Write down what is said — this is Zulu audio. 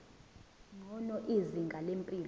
ngcono izinga lempilo